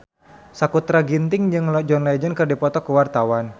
Sakutra Ginting jeung John Legend keur dipoto ku wartawan